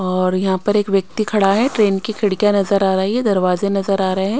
और यहां पर एक व्यक्ति खड़ा है ट्रेन की खिड़कियां नजर आ रही है दरवाजे नजर आ रहे हैं।